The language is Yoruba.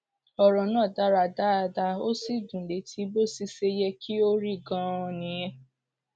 ọrọ náà dára dáadáa ó sì dún létí bó sì ṣe yẹ kí ó rí ganan nìyẹn